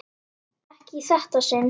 Ekki í þetta sinn.